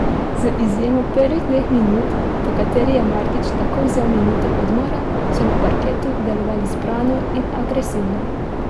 Z izjemo prvih dveh minut, po katerih je Martić takoj vzel minuto odmora, so na parketu delovali zbrano in agresivno.